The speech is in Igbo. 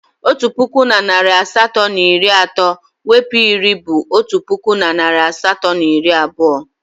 Otu puku na narị asatọ na iri atọ mwepu iri bụ otu puku na narị asatọ na iri abụọ.